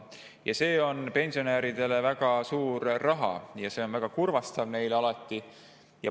Kuna see on pensionäridele väga suur raha, siis see on neile alati väga kurvastav.